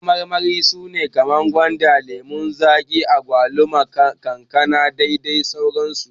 Kayan marmari su ne kamar su gwanda, lemon zaki, agwaluma, kankana dadai sauran su.